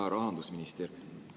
Hea rahandusminister!